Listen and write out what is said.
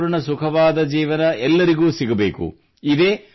ಆರೋಗ್ಯಪೂರ್ಣ ಸುಖವಾದ ಜೀವನ ಎಲ್ಲರಿಗೂ ಸಿಗಬೇಕು